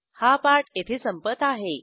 हा पाठ येथे संपत आहे